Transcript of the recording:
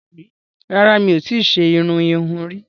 Rárá, mi ò tí ṣe irun ìhun rí